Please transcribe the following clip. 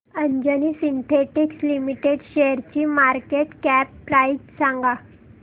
Anjani synthetics limited शेअरची market cap price सांगा